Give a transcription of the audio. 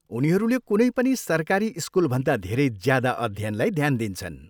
उनीहरूले कुनै पनि सरकारी स्कुलभन्दा धेरै ज्यादा अध्ययनलाई ध्यान दिन्छन्।